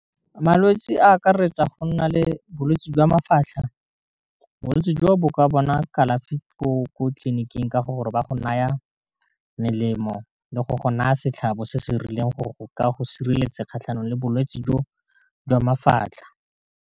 Malwetse a akaretsa go nna le bolwetse jwa mafatlha bolwetse jo bo ka bona kalafi ko tleliniking ka gore ba go na ya melemo le go go na ya setlhabo se se rileng go ka go sireletsa kgatlhanong le bolwetse jo jwa mafatlha.